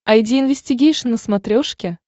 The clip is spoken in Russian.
айди инвестигейшн на смотрешке